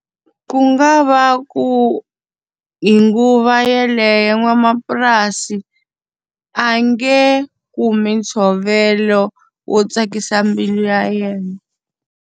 Ku nga va ku, hi nguva yeleyo n'wamapurasi a nge kumi ntshovelo wo tsakisa mbilu ya yena.